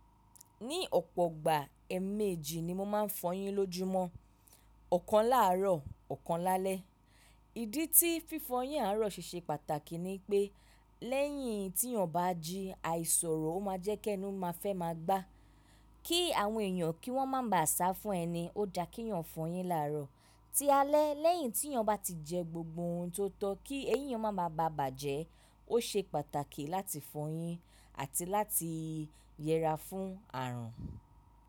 Ní ọ̀pọ̀ ìgbà ẹ̀ẹ̀mẹ́jì ni mo máa ń fọyín lójúmọ́, ọ̀kan láàárọ̀, ọ̀kan lálẹ́. Ìdí tí fífọyín àárọ̀ ṣe ṣe pàtàkì ni pé lẹ́yìn tí yàn bá jí, àìsọ̀rọ̀ o máa jẹ́ kí ẹnu máa fẹ́ máa gbá. Kí àwọn èèyàn kí wọ́n má ba à sá fún ẹni, ó da kíyàn fọyín làárọ̀. Tí alẹ́ lẹ́yìn tí yàn bá ti jẹ gbogbo ohun tó tọ́ọ́, kí eyín yàn má ba à bàjẹ́, ó ṣe pàtàkì láti fọyín àti láti yẹra fún àrùn.